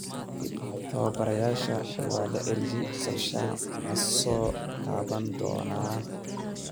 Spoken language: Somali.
Tababarayaasha waa la eryay, Solskjaer ma soo kaban doonaa?